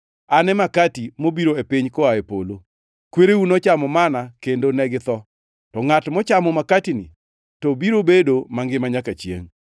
An e makati mobiro e piny koa e polo. Kwereu nochamo manna kendo ne githo, to ngʼat mochamo makatini, to biro bedo mangima nyaka chiengʼ.”